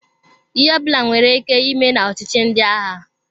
Ihe ọbụla nwere ike ime na ọchịchi ndị agha.